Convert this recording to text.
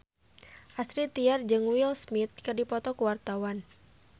Astrid Tiar jeung Will Smith keur dipoto ku wartawan